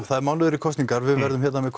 það er mánuður í kosningar við verðum hérna með